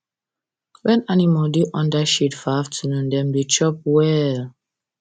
when animal da under shade for afternoon dem da chop well